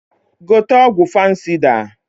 Gote ọgwụ fansịda!